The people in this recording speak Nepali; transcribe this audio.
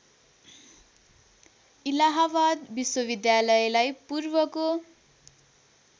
इलाहाबाद विश्वविद्यालयलाई पूर्वको